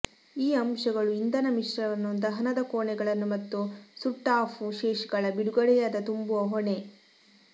ಈ ಅಂಶಗಳು ಇಂಧನ ಮಿಶ್ರಣವನ್ನು ದಹನದ ಕೋಣೆಗಳನ್ನು ಮತ್ತು ಸುಟ್ಟ ಆಫ್ ಶೇಷಗಳ ಬಿಡುಗಡೆಯಾದ ತುಂಬುವ ಹೊಣೆ